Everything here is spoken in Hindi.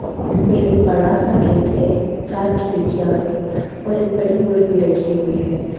जिस पे एक बड़ा सा गेट है चार खिड़कियां हैं और एक बड़ी मूर्ति रखी हुई है।